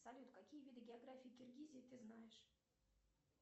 салют какие виды географии киргизии ты знаешь